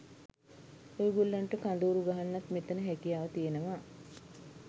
ඔයගොල්ලන්ට කඳවුරු ගහන්නත් මෙතන හැකියාව තියෙනවා.